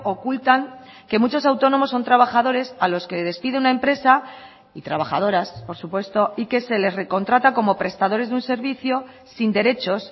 ocultan que muchos autónomos son trabajadores a los que despide una empresa y trabajadoras por supuesto y que se les recontrata como prestadores de un servicio sin derechos